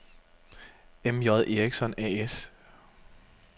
M.J. Eriksson A/S